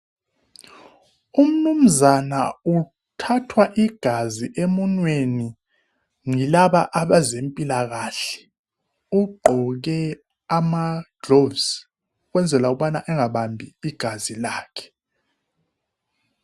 Umnuzana uthathwa igazi emunweni yilaba abezempilakahle. Ugqoke amagloves ukwenzela ukubana engabambi igazi lakhe.